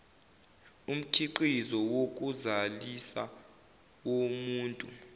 umkhiqizo wokuzalisa womuntu